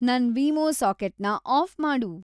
ನನ್‌ ವೀಮೊ ಸಾಕೆಟ್ನ ಆಫ್‌ ಮಾಡು